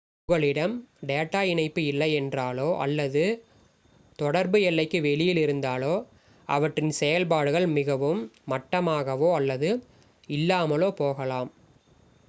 உங்களிடம் டேட்டா இணைப்பு இல்லையென்றாலோ அல்லது தொடர்பு எல்லைக்கு வெளியில் இருந்தாலோ அவற்றின் செயல்பாடுகள் மிகவும் மட்டாகவோ அல்லது இல்லாமலோ போகலாம்